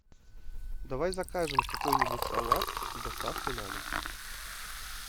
давай закажем какой нибудь салат с доставкой на дом